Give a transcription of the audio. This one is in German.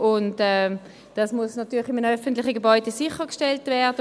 Das muss in einem öffentlichen Gebäude natürlich sichergestellt werden.